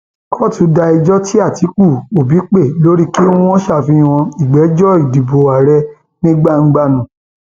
kóòtù da ẹjọ tí àtikukú òbí pè lórí kí wọn ṣàfihàn ìgbẹjọ ìdìbò àárẹ ní gbangba nù